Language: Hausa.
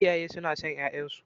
Iyaye suna son ƴaƴansu.